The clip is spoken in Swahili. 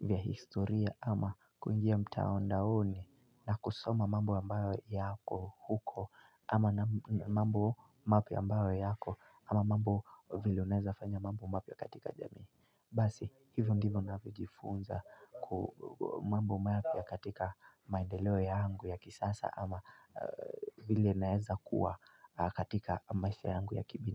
vya historia ama kwa njia mtaondaoni na kusoma mambo ambayo yako huko ama mambo mapia ambayo yako ama mambo vile uneza fanya mambo mapia katika jamii. Basi hivyo ndivyo ninavyojifunza mambo mapya katika maendeleo yangu ya kisasa ama vile naeza kuwa katika maisha yangu ya kibina.